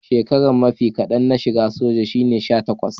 shekaran mafi kadan na shigan soja shine sha takwas.